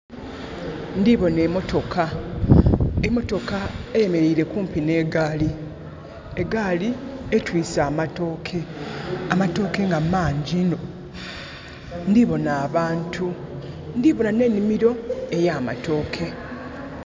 Ndiboona emotoka. Emotoka eyemeleire kumpi n'egaali. Egaali etwiise amatooke, amatooke nga mangi inho. Ndiboona abantu, ndiboona n' enhimiro eya matooke.